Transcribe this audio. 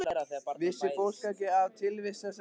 Vissi fólk ekki af tilvist þessara kvenna?